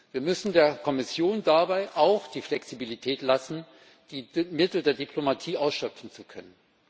Wir müssen der Kommission dabei auch die Flexibilität lassen, die Mittel der Diplomatie ausschöpfen zu können.